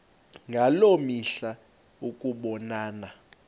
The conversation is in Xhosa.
ngaloo mihla ukubonana